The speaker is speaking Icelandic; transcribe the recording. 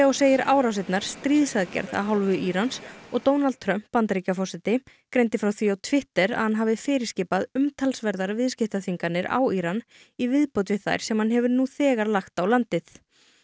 segir árásirnar stríðsaðgerð af hálfu Írans og Donald Trump Bandaríkjaforseti greindi frá því á Twitter að hann hafi fyrirskipað umtalsverðar viðskiptaþvinganir á Íran í viðbót við þær sem hann hefur nú þegar lagt á landið